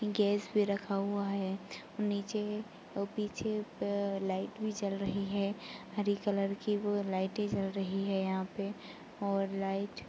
Gas भी रखा हुआ है। नीचे और पीछे एक लाइट भी जल रही है। हरी कलर की वो लाइटे जल रही है यहाँ पे और लाइट --